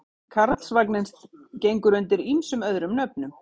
Karlsvagninn gengur undir ýmsum öðrum nöfnum.